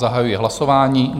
Zahajuji hlasování.